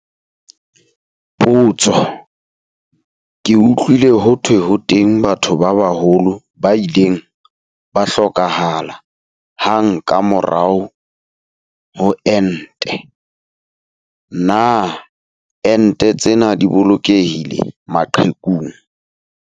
Potso. Ke utlwile ho thwe ho teng batho ba baholo ba ileng ba hlokahala hang ka mora ho enta. Na ente tsena di bolokehile maqhekung?